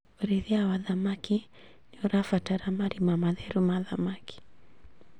ũrĩithia wa thamaki nĩũrabatara marima matheru ma thamaki